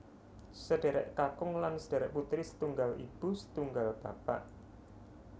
Sedherek kakung lan sedherek putri setunggal ibu setunggal bapak